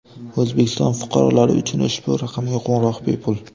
O‘zbekiston fuqarolari uchun ushbu raqamga qo‘ng‘iroq bepul.